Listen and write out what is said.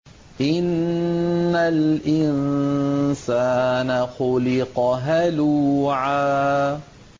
۞ إِنَّ الْإِنسَانَ خُلِقَ هَلُوعًا